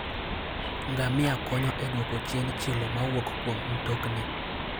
Ngamia konyo e dwoko chien chilo mawuok kuom mtokni.